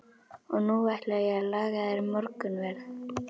Og nú ætla ég að laga þér morgunverð.